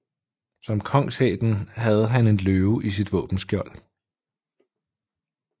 Som kongsætten havde han en løve i sit våbenskjold